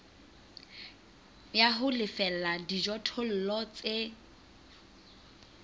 ya ho lefella dijothollo tse